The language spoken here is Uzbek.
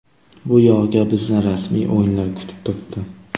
Bu yog‘iga bizni rasmiy o‘yinlar kutib turibdi.